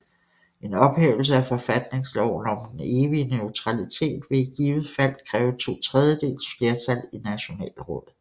En ophævelse af forfatningsloven om den evige neutralitet vil i givet fald kræve to tredjedeles flertal i Nationalrådet